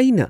ꯑꯩꯅ